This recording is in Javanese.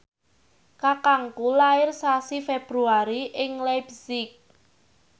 kakangku lair sasi Februari ing leipzig